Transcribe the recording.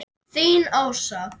Þín Ása.